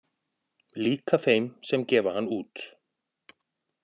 Líka þeim sem gefa hann út